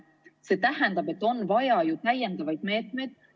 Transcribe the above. See tähendab, et on vaja täiendavaid meetmeid.